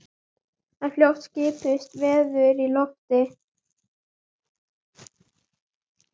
En fljótt skipuðust veður í lofti.